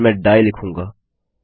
फिर मैं डाइ लिखूँगा